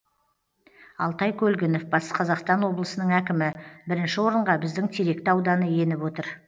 алтай көлгінов батыс қазақстан облысының әкімі бірінші орынға біздің теректі ауданы еніп отыр